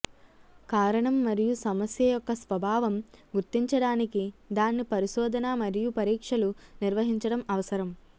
కారణం మరియు సమస్య యొక్క స్వభావం గుర్తించడానికి దాన్ని పరిశోధన మరియు పరీక్షలు నిర్వహించడం అవసరం